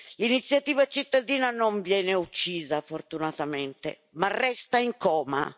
L'iniziativa cittadina non viene uccisa, fortunatamente, ma resta in coma.